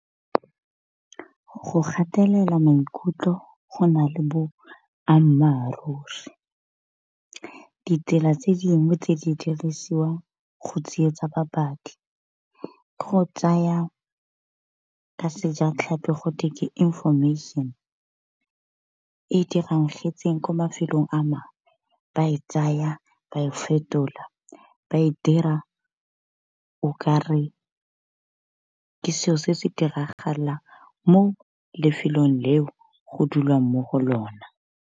Go gatelela maikutlo go na le boammaruri, ditsela tse dingwe tse di dirisiwa go tsietsa babadi ke go tsaya ka sejatlhapi go the ke information e diragetseng ko mafelong a mangwe ba e tsaya ba e fetola ba e dira o kare ke selo se se diragalang mo lefelong leo go dulwang mo go lona.